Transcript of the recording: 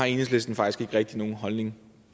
enhedslisten faktisk ikke rigtig har nogen holdning